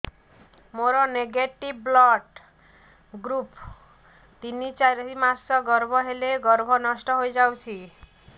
ମୋର negative blood group ତିନ ଚାରି ମାସ ଗର୍ଭ ହେଲେ ଗର୍ଭ ନଷ୍ଟ ହେଇଯାଉଛି